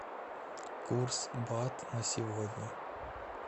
курс бат на сегодня